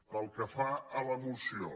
pel que fa a la moció